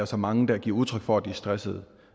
så mange der giver udtryk for at de er stressede